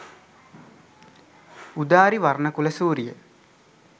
udari warnakulasooriya